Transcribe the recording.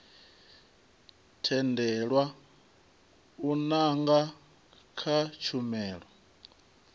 tendelwa u nanga kha tshumelo